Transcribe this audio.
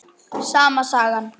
Sama sagan.